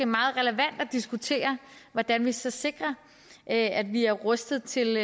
meget relevant at diskutere hvordan vi så sikrer at at vi er rustet til